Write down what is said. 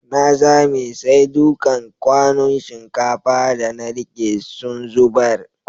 Na zame, sai dukan kwanun shinkafa da na rike sun zubar.